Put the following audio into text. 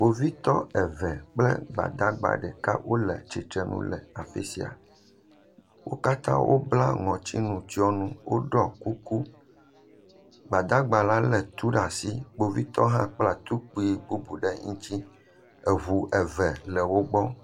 Kpovitɔ eve kple gbadagba ɖeka wole tsitre nu le afi sia. Wo katã bla ŋɔtinutsɔnu, woɖɔ kuku. Gbadagba la lé tu ɖe asi. Kpovitɔ hã kpla tukpui bubu ɖe ŋuti. Eŋu eve le wo gbɔ.